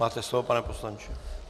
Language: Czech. Máte slovo, pane poslanče.